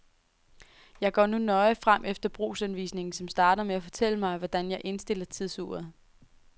Jeg går nu nøje frem efter brugsanvisningen, som starter med at fortælle mig, hvordan jeg indstiller tidsuret.